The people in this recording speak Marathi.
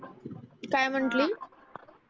काय म्हंटली